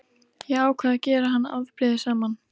Ég ákvað að gera hann afbrýðisaman.